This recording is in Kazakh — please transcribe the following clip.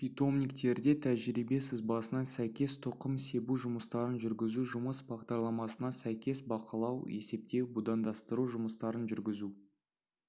питомниктерде тәжірибе сызбасына сәйкес тұқым себу жұмыстарын жүргізу жұмыс бағдарламасына сәйкес бақылау есептеу будандастыру жұмыстарын жүргізу